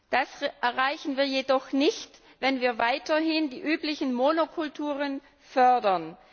Das erreichen wir jedoch nicht, wenn wir weiterhin die üblichen Monokulturen fördern.